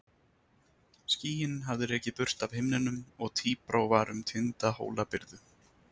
Skýin hafði rekið burt af himninum og tíbrá var um tinda Hólabyrðu.